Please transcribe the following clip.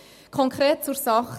Konkret zur Sache: